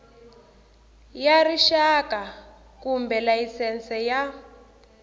ya rixaka kumbe layisense ya